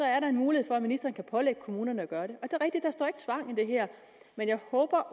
er der en mulighed for at ministeren kan pålægge kommunerne at gøre i det her men jeg håber at